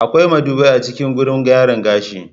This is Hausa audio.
Akwai madubai a cikin gurin gyaran gashi.